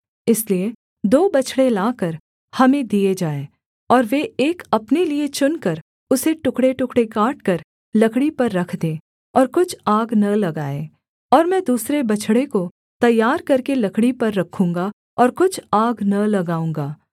इसलिए दो बछड़े लाकर हमें दिए जाएँ और वे एक अपने लिये चुनकर उसे टुकड़ेटुकड़े काटकर लकड़ी पर रख दें और कुछ आग न लगाएँ और मैं दूसरे बछड़े को तैयार करके लकड़ी पर रखूँगा और कुछ आग न लगाऊँगा